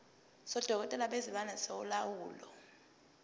sodokotela bezilwane solawulo